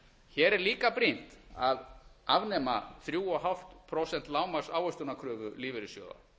hér er líka brýnt að afnema þrjú og hálft prósent lágmarksávöxtunarkröfu lífeyrissjóða